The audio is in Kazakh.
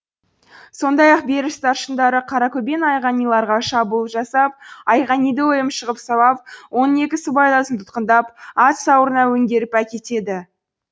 сондай ақ беріш старшындары қаракөбен айғаниларға шабуыл жасап айғаниді өлімші ғып сабап оның екі сыбайласын тұтқындап ат сауырына өңгеріп әкетеді